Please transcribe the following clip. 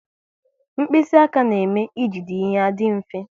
Mkpịsị aka na-eme e jide ihe adị mfe